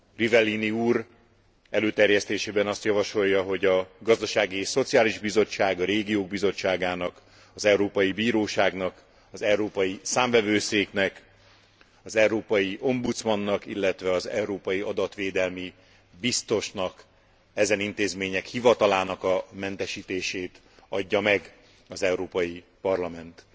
Rivellini úr előterjesztésében azt javasolja, hogy a Gazdasági és Szociális Bizottságnak, a Régiók Bizottságának, az Európai Bíróságnak, az Európai Számvevőszéknek, az európai ombudsmannak, illetve az európai adatvédelmi biztosnak, ezen intézmények hivatalának a mentesítését adja meg az Európai Parlament.